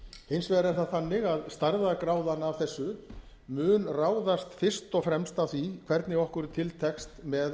hins vegar er það þannig að stærðargráðan af þessu mun ráðast fyrst og fremst af því hvernig okkur tekst til með